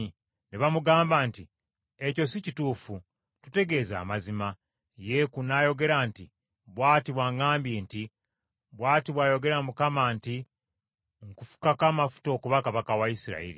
Ne bamugamba nti, “Ekyo si kituufu! Tutegeeze amazima.” Yeeku n’ayogera nti, “Bw’ati bw’aŋŋambye nti, ‘Bw’ati bw’ayogera Mukama nti nkufukako amafuta okuba kabaka wa Isirayiri.’ ”